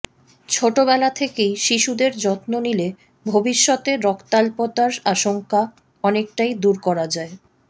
ছোটবেলা থেকেই শিশুদের যত্ন নিলে ভবিষ্যতে রক্তাল্পতার আশঙ্কা অনেকটাই দূর করা যায়